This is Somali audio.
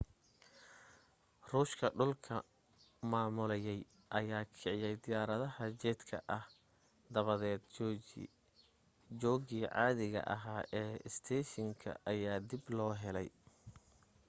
ruushka dhulka maamulayay ayaa kiciya diyaaradaha jedka ah dabadeed joogii caadiga ahaa ee isteeshinka ayaa dib loo helay